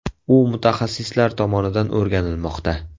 U mutaxassislar tomonidan o‘rganilmoqda.